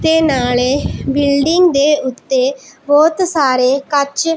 ਤੇ ਨਾਲੇ ਬਿਲਡਿੰਗ ਦੇ ਉੱਤੇ ਬਹੁਤ ਸਾਰੇ ਕੱਚ--